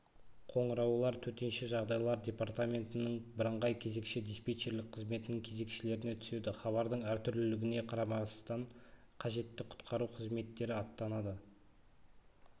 қоңыраулар төтенше жағдайлар департаменттерінің бірыңғай кезекші-диспетчерлік қызметінің кезекшілеріне түседі хабардың әртүрлілігіне қарамастан қажетті құтқару қызметтері аттанады